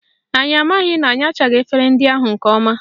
Anyị amaghị na anyachaghị efere ahụ nke ọma